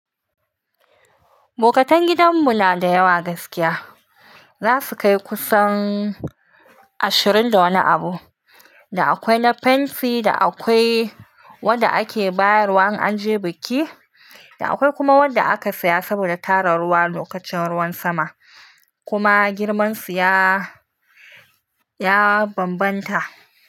Bokatan gidanmu na da yawa gaskiya. Za su kai kusan ashirin da wani abu. Da akwai na fenti, da akwai wanda ake bayar wa in an je biki, da akwai kuma wanda aka saya saboda tara ruwa lokacin ruwan sama, kuma girmansu ya, ya bambanta.